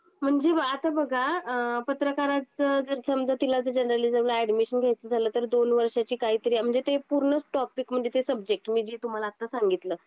म्हणजे आता बघा अ पत्रकारच जर समजा तिला जर जर्नलिज्मला ऍडमिशन घ्यायच झाल तर दोन वर्षांची काहीतरी म्हणजे ते पूर्ण टॉपिक म्हणजे ते सब्जेक्ट मी जे तुम्हाला आता सांगितलं.